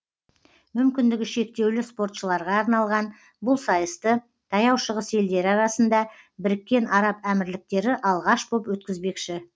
мүмкіндігі шектеулі спортшыларға арналған бұл сайысты таяу шығыс елдері арасында біріккен араб әмірліктері алғаш боп өткізбекші